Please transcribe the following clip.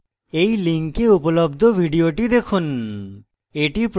এই লিঙ্কে উপলব্ধ video দেখুন